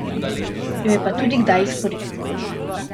Jo je pa tudi kdaj izkoristil.